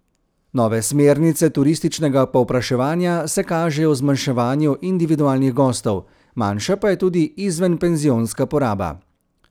Nove smernice turističnega povpraševanja se kažejo v zmanjševanju individualnih gostov, manjša pa je tudi izvenpenzionska poraba.